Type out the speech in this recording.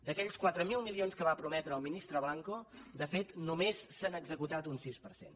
d’aquells quatre mil milions que va prometre el ministre blanco de fet només se n’ha executat el sis per cent